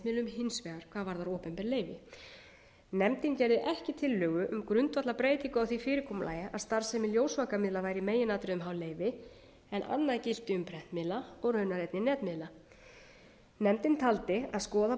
varðar opinber leyfi nefndin gerði ekki tillögu um grundvallarbreytingu á því fyrirkomulagi að starfsemi ljósvakamiðla væri í meginatriðum háð leyfi en annað gilti um prentmiðla og raunar einnig netmiðla nefndin taldi að skoða